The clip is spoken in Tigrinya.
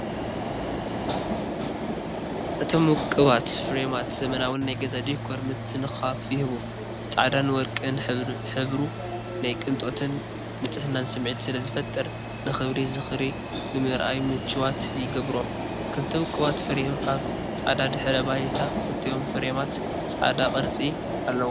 እቶም ውቁባት ፍሬማት ዘመናውን ናይ ገዛ ዲኮር ምትንኻፍ ይህቡ። ጻዕዳን ወርቅን ሕብሩ ናይ ቅንጦትን ንጽህናን ስምዒት ስለ ዝፈጥር፡ ንኽቡር ዝኽሪ ንምርኣይ ምቹዋት ይገብሮም። ክልተ ውቁባት ፍሬም ኣብ ጻዕዳ ድሕረ ባይታ፣ ክልቲኦም ፍሬማት ጻዕዳ ቅርጺ ኣለዎም።